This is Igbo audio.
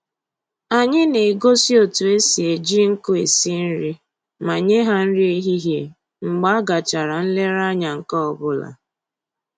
Anyị na-egosi otu esi eji nkụ esi nri ma nye ha nri ehihie mgbe a gachara nlereanya nke ọbụla